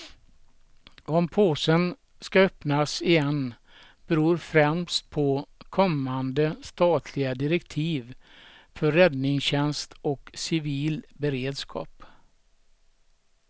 Om påsen ska öppnas igen beror främst på kommande statliga direktiv för räddningstjänst och civil beredskap.